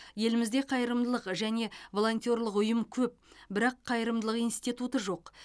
елімізде қайырымдылық және волонтерлық ұйым көп бірақ қайырымдылық институты жоқ